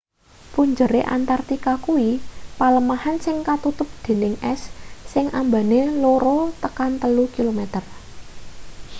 punjere antartika kuwi palemahan sing katutup dening es sing ambane 2-3 km